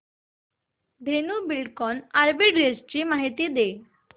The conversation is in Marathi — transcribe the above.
धेनु बिल्डकॉन आर्बिट्रेज माहिती दे